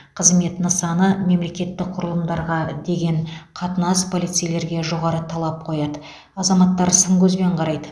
қызмет нысаны мемлекеттік құрылымдарға деген қатынас полицейлерге жоғары талап қояды азаматтар сын көзбен қарайды